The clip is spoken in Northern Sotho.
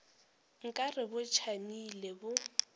nka re bo tšamile bo